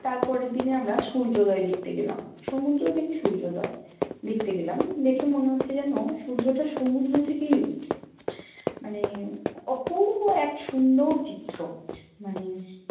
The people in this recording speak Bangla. তার পরের দিনে আমরা সূর্যোদয় দেখ্তে গেলাম, সমূদ্র দেখে সূর্যোদয় দেখ্তে গেলাম, দেখে মনে হচ্ছে যেন সূর্যটা সমূদ্র থেকেই উঠচে, মানে অপুর্ব এক সুন্দ্রর চিত্র মানে